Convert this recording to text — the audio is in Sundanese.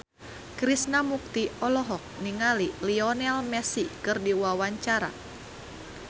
Krishna Mukti olohok ningali Lionel Messi keur diwawancara